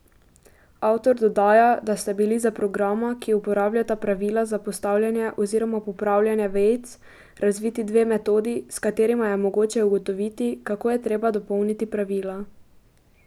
Avtor dodaja, da sta bili za programa, ki uporabljata pravila za postavljanje oziroma popravljanje vejic, razviti dve metodi, s katerima je mogoče ugotoviti, kako je treba dopolniti pravila.